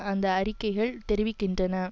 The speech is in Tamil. அந்த அறிக்கைகள் தெரிவிக்கின்றன